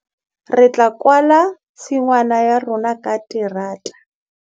Re tla kwala tshingwana ya rona ka terata.